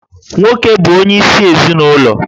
Nwoke bụ onyeisi ezinụlọ